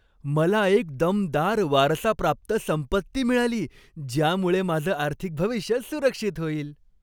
मला एक दमदार वारसाप्राप्त संपत्ती मिळाली ज्यामुळे माझं आर्थिक भविष्य सुरक्षित होईल.